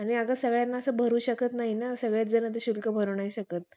आणि अगं सगळ्यांना असं भरू शकत नाही ना सगळेच जण तर शुल्क भरू नाही शकत